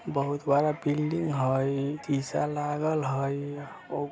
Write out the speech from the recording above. बहुत बड़ा बिल्डिंग हेय शीशा लागल हेय ओ --